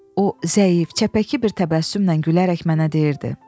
O zəif, çəpəki bir təbəssümlə gülərək mənə deyirdi: